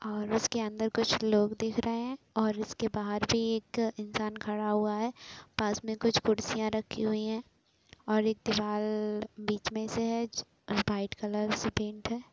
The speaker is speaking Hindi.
और इसके अंदर कुछ लोग दिख रहे हैं और इसके बाहर भी एक इंसान खड़ा हुआ है | पास में कुछ कुर्सियां रखी हुई हैं और एक दिवाल बीच में से है वाइट कलर से पेंट हैं।